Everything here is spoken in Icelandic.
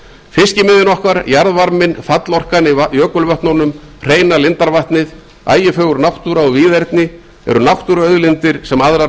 fiskimiðin okkar jarðvarminn fallorkan í jökulvötnunum hreina lindarvatnið ægifögur náttúra og víðerni eru náttúruauðlindir sem aðrar